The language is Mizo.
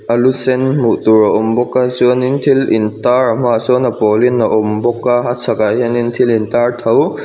a lu sen hmuh tur a awm bawk a chuanin thil in tar a hmaah sawn a pawl in a awm bawk a a chhak ah hian thil in tar tho--